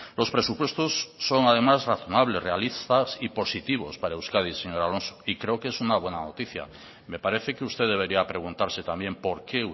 los presupuestos son además razonables realistas y positivos para euskadi señor alonso y creo que es una buena noticia me parece que usted debería preguntarse también por qué